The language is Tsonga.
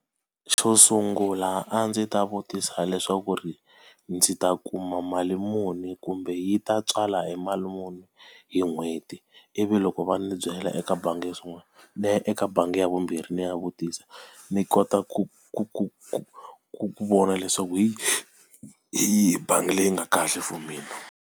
Xo sungula a ndzi ta vutisa leswaku ri ndzi ta kuma mali muni kumbe yi ta tswala e mali muni hi n'hweti? Ivi loko va ndzi byela eka bangi yo sungula, ni ya eka bangi ya vumbirhi ni ya vutisa. Ni kota ku ku ku ku ku vona leswaku hi hi bangi leyi nga kahle for mina.